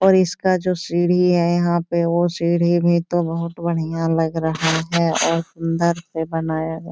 और इसका जो सीढ़ी है यहाँ पे वो सीढ़ी भी तो बहुत बढ़िया लग रहा है और सूंदर से बनाया --